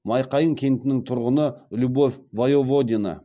майқайың кентінің тұрғыны любовь воеводина